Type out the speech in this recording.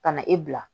Ka na e bila